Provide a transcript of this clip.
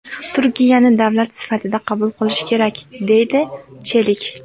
Turkiyani davlat sifatida qabul qilish kerak!”, deydi Chelik.